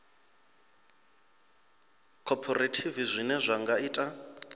khophorethivi zwine zwa nga ita